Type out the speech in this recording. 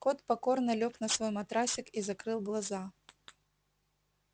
кот покорно лёг на свой матрасик и закрыл глаза